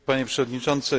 Panie Przewodniczący!